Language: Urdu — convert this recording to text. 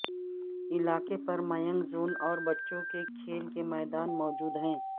علاقے پر مینگ زون اور بچوں کے کھیل کے میدان موجود ہیں